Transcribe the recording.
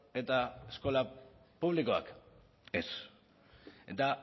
eta eskola publikoek ez eta